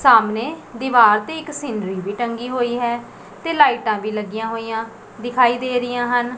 ਸਾਹਮਣੇ ਦੀਵਾਰ ਤੇ ਇੱਕ ਸੀਨਰੀ ਵੀ ਟੰਗੀ ਹੋਈ ਹੈ ਤੇ ਲਾਈਟਾਂ ਵੀ ਲੱਗੀਆਂ ਹੋਈਆਂ ਦਿਖਾਈ ਦੇ ਰਹੀਆਂ ਹਨ।